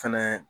Fɛnɛ